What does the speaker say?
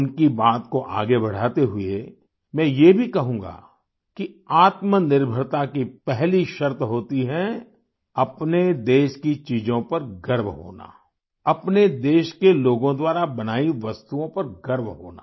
उनकी बात को आगे बढ़ाते हुये मैं ये भी कहूँगा कि आत्मनिर्भरता की पहली शर्त होती है अपने देश की चीजों पर गर्व होना अपने देश के लोगों द्वारा बनाई वस्तुओं पर गर्व होना